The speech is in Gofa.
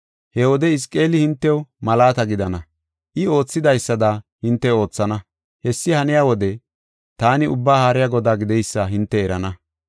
He wode Hizqeeli hintew malaata gidana; I oothidaysada, hinte oothana. Hessi haniya wode, taani Ubbaa Haariya Godaa gideysa hinte erana.